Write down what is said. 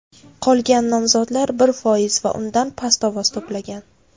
Qolgan nomzodlar bir foiz va undan past ovoz to‘plagan.